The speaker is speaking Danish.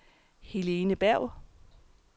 Helene Berg